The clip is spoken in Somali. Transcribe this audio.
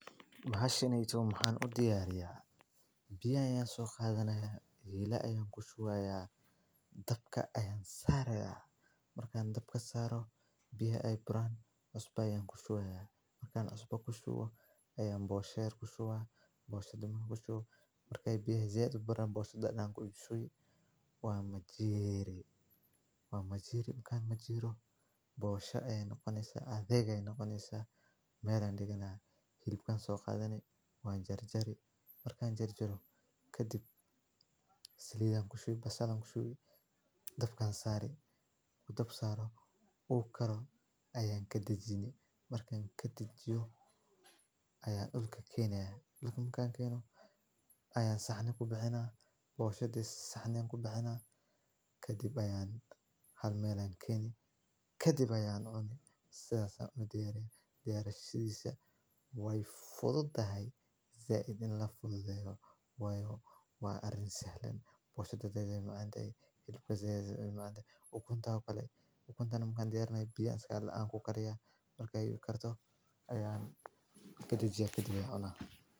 Biyan soqaadhanaya heela ayaan ku shuuya, dabka ayaan saarayaa, markaan dabka saaro biyo ay buran cusubay ku shuuya, markaan cuba ku shuo, ayeey booshah ku shuwaa, booshada muhu ku shu. Markay biyo ziyadeen buura boosada dhaqanku u ushooyi. Waan ma jiiri, waa ma jiiir. Markaan ma jiiro, boosha aye noqonaysa adeega aye noqonaysa meelan dhigana. Hilbkan soo qaadany waan jari jari. Markaan jari jaro. Kadib salidaan ku shuu, bassaadku shuu dhabkaan saarey, ku dhab saaro oo karo. Ayaan ka dejiyay. Markaan ka dib jo, ayaan ul ka keenay, ulkan kaan keeno? Ayaan sahne ku baxnaan. Booshadiis sahneyn ku baxnaan. Ka dib ayaan hal meelane keeni. Ka dib ayaan oonin saas u diyaarin diyaar shidisa. Way fududahay zayd in la fududahay. Wayoo way arin sahlam. toban daqiqo aan ilbka zeedeemana. Ugu koonta kale ukuntaan mukaan diyaarnay biyaskool aan ku karyaa. Markay u kartoo ayaan ka dib jiyo. Ka dib kadejiya dabka elaha.